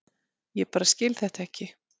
Ég bara skil þetta ekki.